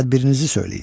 Tədbirinizi söyləyin.